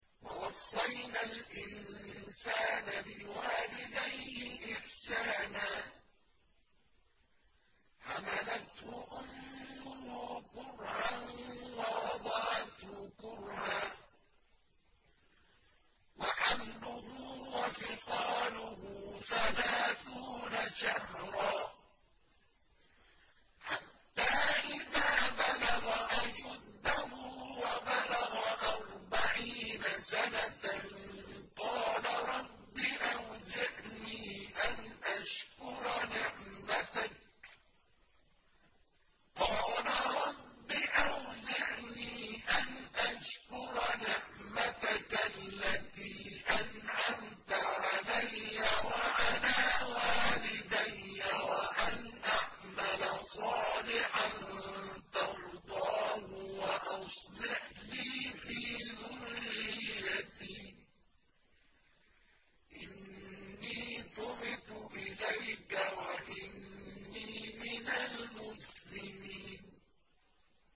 وَوَصَّيْنَا الْإِنسَانَ بِوَالِدَيْهِ إِحْسَانًا ۖ حَمَلَتْهُ أُمُّهُ كُرْهًا وَوَضَعَتْهُ كُرْهًا ۖ وَحَمْلُهُ وَفِصَالُهُ ثَلَاثُونَ شَهْرًا ۚ حَتَّىٰ إِذَا بَلَغَ أَشُدَّهُ وَبَلَغَ أَرْبَعِينَ سَنَةً قَالَ رَبِّ أَوْزِعْنِي أَنْ أَشْكُرَ نِعْمَتَكَ الَّتِي أَنْعَمْتَ عَلَيَّ وَعَلَىٰ وَالِدَيَّ وَأَنْ أَعْمَلَ صَالِحًا تَرْضَاهُ وَأَصْلِحْ لِي فِي ذُرِّيَّتِي ۖ إِنِّي تُبْتُ إِلَيْكَ وَإِنِّي مِنَ الْمُسْلِمِينَ